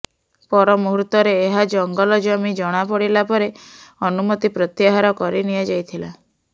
ପରମୁହୂର୍ତ୍ତରେ ଏହା ଜଙ୍ଗଲ ଜମି ଜଣାପଡିଲା ପରେ ଅନୁମତି ପ୍ରତ୍ୟାହାର କରିନିଆଯାଇଥିଲା